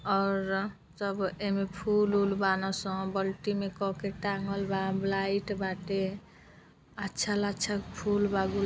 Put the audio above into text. और सब एम्मे फूल ऊल बाना सब बाल्टी में कके टाँगल बा लाइट बाटे। अच्छा लच्छा फूल बा गुलाब --